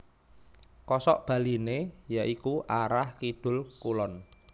Kosok baliné ya iku arah Kidul Kulon